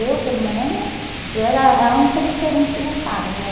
Eu, pelo menos, eu era a a única diferente da casa, né?